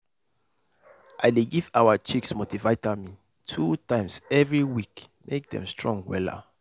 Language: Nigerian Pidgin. i dey give our chicks multivitamin two times every week make dem strong wella.